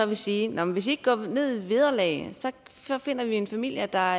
vil sige nå men hvis i ikke går ned i vederlag så finder vi en familie der